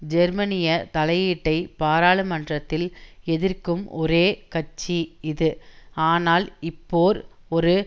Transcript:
ஜெர்மனிய தலையீட்டை பாராளுமன்றத்தில் எதிர்க்கும் ஒரே கட்சி இது ஆனால் இப்போர் ஒரு